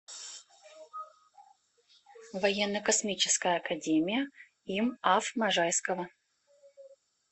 военно космическая академия им аф можайского